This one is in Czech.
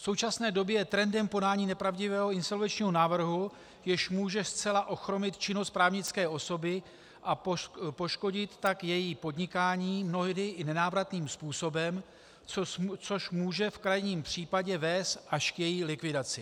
V současné době je trendem podání nepravdivého insolvenčního návrhu, jež může zcela ochromit činnost právnické osoby, a poškodit tak její podnikání mnohdy i nenávratným způsobem, což může v krajním případě vést až k její likvidaci.